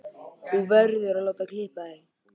Þú verður að láta klippa þig.